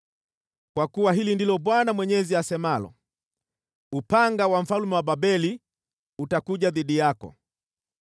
“ ‘Kwa kuwa hili ndilo Bwana Mwenyezi asemalo: “ ‘Upanga wa mfalme wa Babeli utakuja dhidi yako.